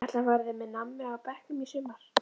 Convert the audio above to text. Ætli hann verði með nammi á bekknum í sumar?